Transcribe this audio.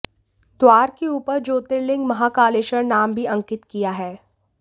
द्वार के ऊपर ज्योतिर्लिंग महाकालेश्वर नाम भी अंकित किया है